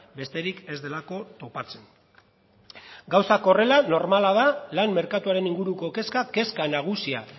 besterik ez delako topatzen gauzak horrela normala da lan merkatuaren inguruko kezka kezka nagusia